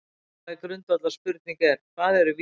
Mikilvæg grundvallarspurning er: Hvað eru vísindi?